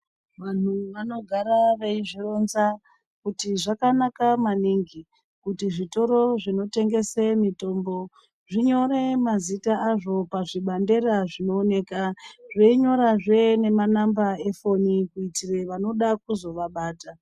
Vanhu vanogara veizvironza kuti zvakanaka maningi kuti zvitoro zvinotengese mitombo zvinyore mazita azvo pazvibandera zvinooneka, zveinyorazve nemanamba efoni kuitire vanoda kuzovabata.